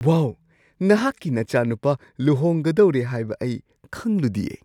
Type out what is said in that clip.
ꯋꯥꯎ! ꯅꯍꯥꯛꯀꯤ ꯅꯆꯥꯅꯨꯄꯥ ꯂꯨꯍꯣꯡꯒꯗꯧꯔꯦ ꯍꯥꯏꯕ ꯑꯩ ꯈꯪꯂꯨꯗꯤꯌꯦ!